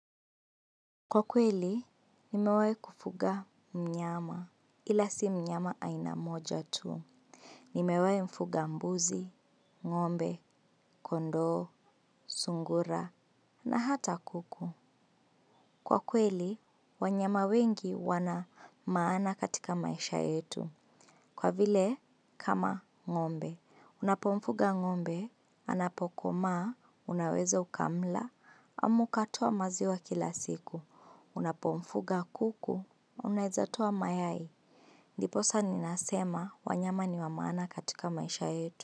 Kwa kweli, nimewai kufuga mnyama, ila si mnyama ainamoja tu. Nimewei mfuga mbuzi, ngombe, kondo, sungura, na hata kuku. Kwa kweli, wanyama wengi wana maana katika maisha yetu. Kwa vile, kama ngombe. Unapomfuga ngombe, anapokoma, unaweza ukamla, amaukatoa maziwa kila siku. Unapo mfuga kuku unaezatua mayai ndiposa ninasema wanyama ni wamana katika maisha yetu.